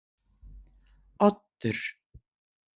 Oddur